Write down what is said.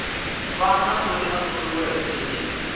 wana loyi a thoriweke hi